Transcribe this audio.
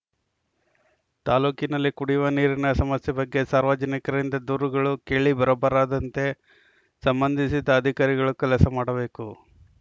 ತಾಲೂಕಿನಲ್ಲಿ ಕುಡಿಯುವ ನೀರಿನ ಸಮಸ್ಯೆ ಬಗ್ಗೆ ಸಾರ್ವಜನಿಕರಿಂದ ದೂರುಗಳು ಕೇಳಿ ಬರಬಾರದಂತೆ ಸಂಬಂಧಿಸಿದ ಅಧಿಕಾರಿಗಳು ಕೆಲಸ ಮಾಡಬೇಕು